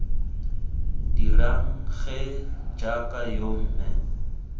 dirang gee jaaka yo mme